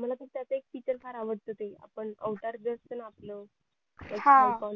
मला तर त्यात ते feature फार आवडत ते आपण अवतार जे असते ना आपलं हा